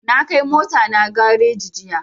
Na kai mota na gareji jiya